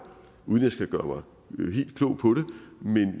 uden at jeg skal gøre mig helt klog på